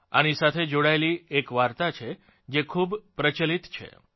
આની સાથે જોડાયેલી એક વાર્તા છે જે ખૂબ પ્રચલિત છે